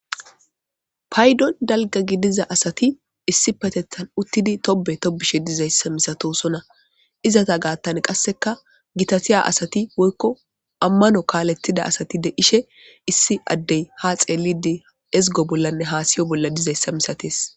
Payiddon dalgga giddiza asati issippetetan uttidi toobe toobishe dizza masatosona izeta gathan qaseka gitattiza asati woyiko amanno kalethiza asati de'ishe issi addey ha xellidi eziggo bollanne hasayo bollan diiza misattes.